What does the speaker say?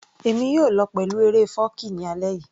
Èmi yóò lọ pẹ̀lú eré fọ́ọ̀kí ní alẹ́ yìí